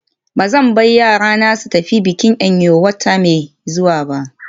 Ba zan bar yarana su tafi bikin Eyo wata mai zuwa ba.